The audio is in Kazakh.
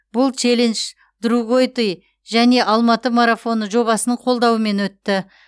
бұл челендж другойты және алматы марафоны жобасының қолдауымен өтті